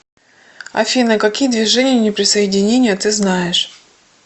афина какие движение неприсоединения ты знаешь